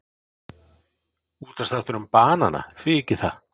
Útvarpsþáttur um banana, því ekki það?